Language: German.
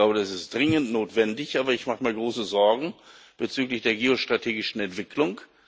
Ich glaube, das ist dringend notwendig, aber ich mache mir große Sorgen bezüglich der geostrategischen Entwicklung.